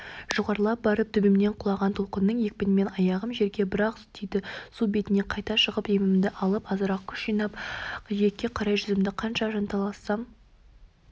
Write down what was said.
жоғарылап барып төбемнен құлаған толқынның екпінімен аяғым жерге бір-ақ тиді су бетіне қайта шығып демімді алып азырақ күш жиып жиекке қарай жүздім қанша жанталассам